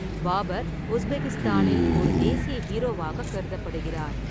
பாபர் உஸ்பெகிஸ்தானில் ஒரு தேசிய ஹீரோவாக கருதப்படுகிறார்.